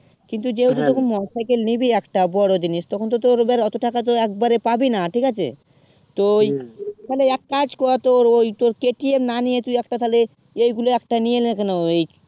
কিন্তু যেইহেতু তখন motorcycle নিবি একটা বোরো জিনিস তখন তো তোর ধর ওত্তো টাকা তো এক বারে পাবি না ঠিক আছে তো তালে এক কাজ কর তোর ঐই তোর KTM না নিয়ে তুই একটা তালে এইগুলা একটা নিয়ে না কেন